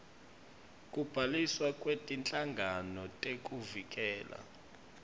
kubhaliswa kwetinhlangano tekuvikela